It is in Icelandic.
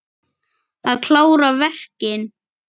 Að klára verkin.